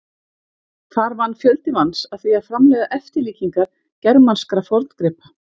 Þar vann fjöldi manns að því að framleiða eftirlíkingar germanskra forngripa.